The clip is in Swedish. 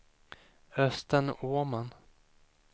Östen Åman